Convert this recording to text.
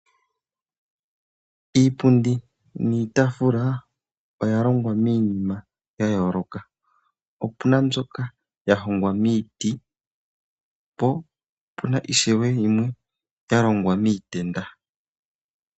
Iipundi niitafula oya longwa miinima ya yooloka, opuna mbyoka ya hongwa miiti, po opuna ishewe yimwe ya longwa miitenda.